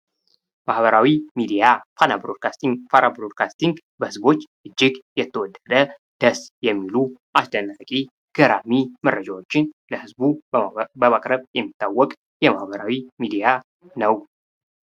ማህበራዊ ሚዲያ፦ ፋና ብሮድካስቲንግ ፦ፋና ብሮድካስቲንግ በህዝቦች እጅግ የተወደደ ደስ የሚሉ አስደናቂ ገራሚ መረጃዎችን ለህዝቡ በማቅረብ የሚታወቅ የማህበራዊ ሚዲያ ነው።